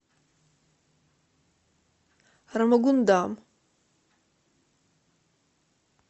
рамагундам